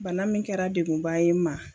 Bana min kɛra degunba ye n ma.